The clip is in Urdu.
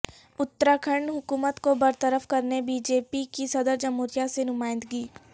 اتر کھنڈ حکومت کو برطرف کرنے بی جے پی کی صدر جمہوریہ سے نمائندگی